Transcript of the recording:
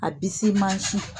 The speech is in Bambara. A bisi mansin.